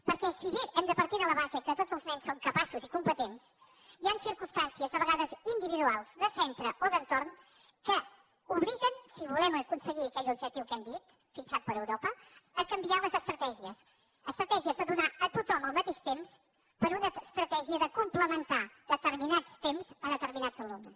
perquè si bé hem de partir de la base que tots els nens són capaços i competents hi han circumstàncies a vegades individuals de centre o d’entorn que obliguen si volem aconseguir aquell objectiu que hem dit fixat per europa a canviar les estratègies estratègies de donar a tothom el mateix temps per una es tratègia de complementar determinats temps a determinats alumnes